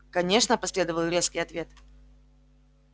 конечно последовал резкий ответ